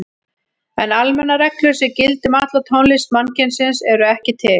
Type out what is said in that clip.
En almennar reglur sem gildi um alla tónlist mannkynsins eru ekki til.